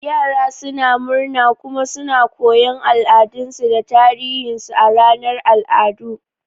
Yara suna murna kuma suna koyon al'adunsu da tarihinsu a ranar al'adu.